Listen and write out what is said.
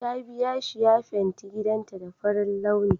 Ta biya shi ya fenti gidanta da farin launi